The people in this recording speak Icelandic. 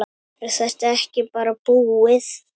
Er þetta ekki bara búið?